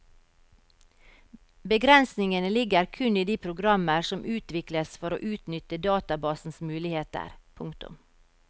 Begrensningene ligger kun i de programmer som utvikles for å utnytte databasens muligheter. punktum